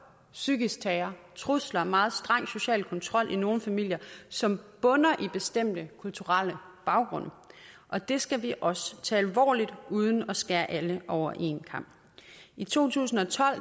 psykisk terror trusler meget streng social kontrol i nogle familier som bunder i bestemte kulturelle baggrunde og det skal vi også tage alvorligt uden at skære alle over en kam i to tusind og tolv